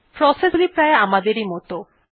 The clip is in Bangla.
প্রসেস গুলি প্রায় আমাদের মতই